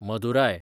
Madurai